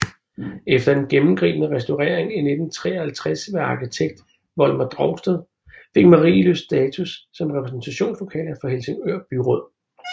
Efter en gennemgribende restaurering i 1953 ved arkitekt Volmar Drosted fik Marienlyst status som repræsentationslokaler for Helsingør Byråd